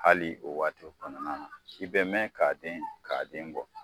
Hali o waati kɔnɔna na, i be mɛn ka den bɔ.